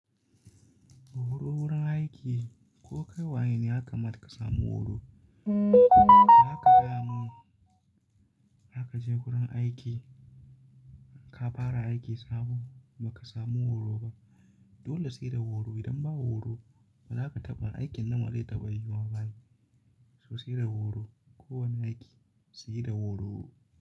Horo wurin aiki, ko kai waye ne yakamata ka samu horo. Da haka gaya mun, zaka je gurin aiki ka fara aiki sabo ba ka samu horo ba. Dole sai da horo. Idan ba horo, bazaka taɓa, aikin nan ba dai taɓa yiyuwa ba ai. To sai da horo. Ko wane aiki sai da horo.